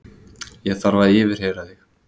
Ég þarf að yfirheyra þig.